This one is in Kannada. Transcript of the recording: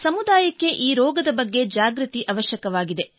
ಸಮುದಾಯಕ್ಕೆ ಈ ರೋಗದ ಬಗ್ಗೆ ಜಾಗೃತಿ ಅವಶ್ಯಕವಾಗಿದೆ